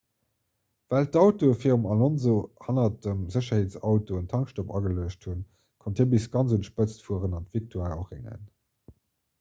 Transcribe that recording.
well d'autoe virum alonso hanner dem sécherheetsauto en tankstopp ageluecht hunn konnt hie bis ganz un d'spëtz fueren an d'victoire erréngen